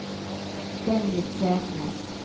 Dennis Selnes